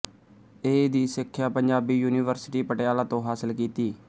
ਏ ਦੀ ਸਿੱਖਿਆ ਪੰਜਾਬੀ ਯੂਨੀਵਰਸਿਟੀ ਪਟਿਆਲਾ ਤੋਂ ਹਾਸਿਲ ਕੀਤੀ